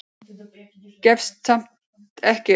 Gefst samt ekki upp.